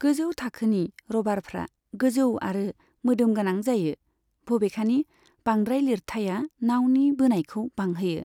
गोजौ थाखोनि र'भारफ्रा गोजौ आरो मोदोमगोनां जायो, बबेखानि बांद्राय लिरथाइआ नाउनि बोनायखौ बांहोयो।